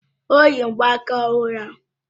O yi mgbaaka ọhụrụ ahụ?